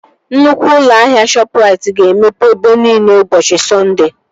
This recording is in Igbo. Nnukwu ụlọ ahịa Shọpụrait ga-emepe ebe nine ụbọchị Sọnde